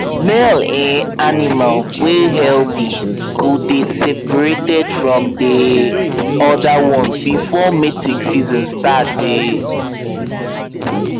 male um animal wey healthy go dey seprated from the um other ones before mating season sart um